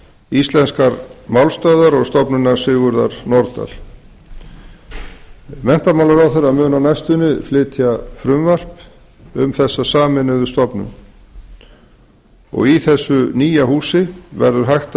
íslenskrar málstöðvar og stofnunar sigurðar nordal menntamálaráðherra mun á næstunni flytja frumvarp um þessa sameinuðu stofnun í þessu nýja húsi verður hægt